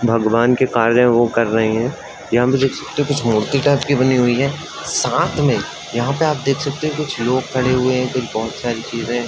भगवान के कार्य वो कर रहे हैं। यहाँ पर हम देख सकते ही की कुछ मूर्ति टाइप की बनी हुई है। साथ में यहाँ पे आप देख सकते हो कि कुछ लोग खड़े हुए हैं। कुछ बहोत सारी चीजे हैं।